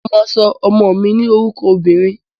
Mo máa sọ ọmọ mi ní orúkọ obìnrin.